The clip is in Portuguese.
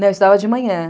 Não, eu estudava de manhã.